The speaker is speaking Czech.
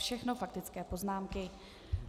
Všechno faktické poznámky.